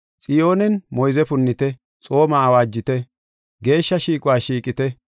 Xiyoonen moyze punnite; xooma awaajite; geeshsha shiiquwa shiiqite!